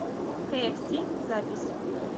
кээфси запись